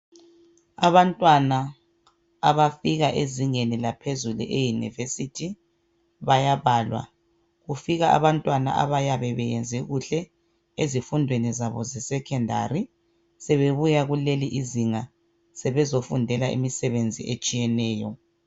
Abantwana abafika ezingeni laphezulu eyeunivesithi bayabalwa kufika abantwana abayabe beyenze kuhle ezifundweni zabo ze secondary sebebuya kulelizinga sebezofundela imisebenzi etshiyeneyo.